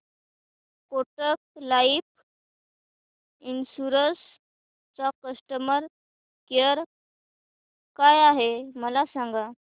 Kotak life insurance चा customer care काय आहे मला सांगा